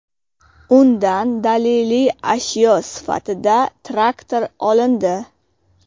Undan daliliy ashyo sifatida traktor olindi.